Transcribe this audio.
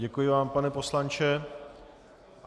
Děkuji vám, pane poslanče.